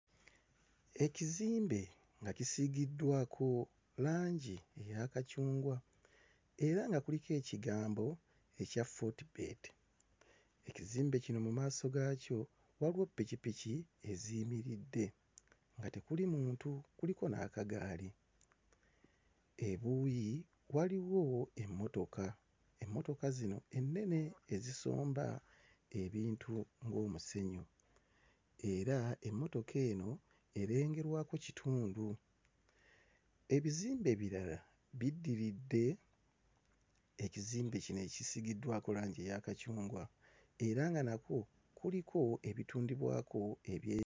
Ekizimbe nga kisiigiddwako langi eya kacungwa era nga kuliko ekigambo ekya Fortebet. Ekizimbe kino mu maaso gaakyo waliwo ppikippiki eziyimiridde nga tekuli muntu, kuliko n'akagaali. Ebuuyi waliwo emmotoka, emmotoka zino ennene ezisomba ebintu ng'omusenyu era emmotoka eno erengerwako kitundu. Ebizimbe ebirala biddiridde ekizimbe kino ekisiigiddwako langi eya kacungwa era nga nakwo kuliko ebitundibwako eby'e.